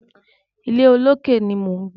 Ilé olókè ni mò ń gbé.